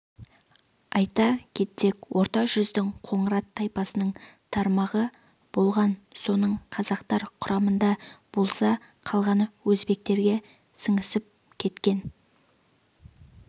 айта кетсек орта жүздің қоңырат тайпасының тармағы болған соның қазақтар құрамында болса қалғаны өзбектерге сіңісіп кеткен